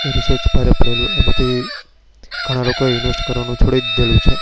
તે reach ભારે પડેલો હતો. તેમાં ઘણા લોકો એ invest કરવાનું છોડી દીધું છે.